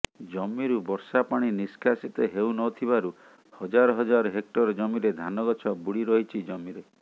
ଜମିରୁ ବର୍ଷା ପାଣି ନିଷ୍କାସିତ ହେଉ ନଥିବାରୁ ହଜାର ହଜାର ହେକ୍ଟର ଜମିରେ ଧାନ ଗଛ ବୁଡ଼ି ରହିଛି ଜମିରେ